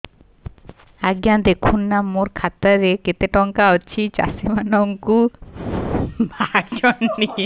ଆଜ୍ଞା ଦେଖୁନ ନା ମୋର ଖାତାରେ କେତେ ଟଙ୍କା ଅଛି ଚାଷୀ ମାନଙ୍କୁ କାଳିଆ ଯୁଜୁନା ରେ ପଇସା ପଠେଇବାର ଥିଲା ପଠେଇଲା ନା ନାଇଁ ଦେଖୁନ ତ